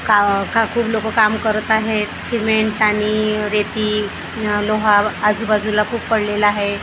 का खा खूप लोकं काम करत आहेत सिमेंट आणि रेती अ लोहा आजूबाजूला खूप पडलेला आहे.